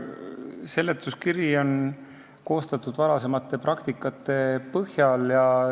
Seletuskiri on koostatud varasema praktika põhjal.